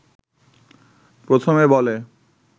প্রথমে বলে